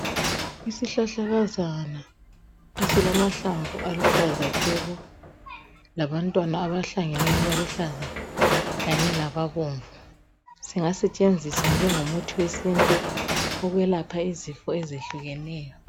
Isihlahlakazana esilamahlamvu aluhlaza tshoko labantwana abahlangeneyo abaluhlaza kanye lababomvu singasetshenziswa njengomuthi wesintu ukwelapha izinto ezehlukeneyo.